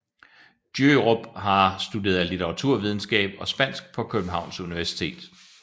Djørup har studeret litteraturvidenskab og spansk på Københavns Universitet